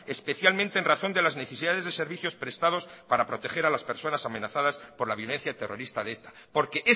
especialmente en razón de las necesidades de servicios prestados para proteger a las personas amenazadas por la violencia terrorista de eta porque